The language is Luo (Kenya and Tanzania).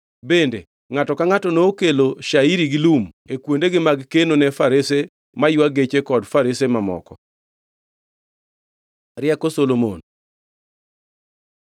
Bende ngʼato ka ngʼato nokelo Shairi gi lum e kuondegi mag keno ne farese maywa geche kod farese mamoko. Rieko Solomon